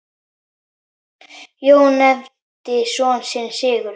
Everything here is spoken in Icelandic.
Jón nefndi son sinn Sigurð.